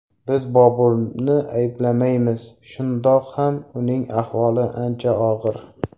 Biz Boburni ayblamaymiz, shundoq ham uning ahvoli ancha og‘ir.